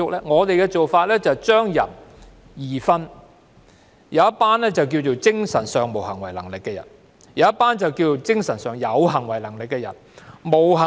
我們的做法是把人分為兩種，"精神上無行為能力的人"和"精神上有行為能力的人"。